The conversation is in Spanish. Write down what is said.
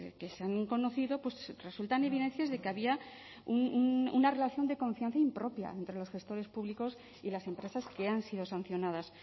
que se han conocido resultan evidencias de que había una relación de confianza impropia entre los gestores públicos y las empresas que han sido sancionadas